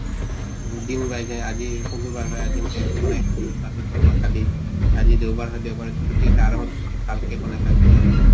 আজি শুকুৰ বাৰ হয়, আজি ৰাতিপুৱা বা কালি আজি দেওবাৰ হয় দেওবাৰে hindi আছে, আৰামত ভালকে বনাই খাব কিবা এনেকা?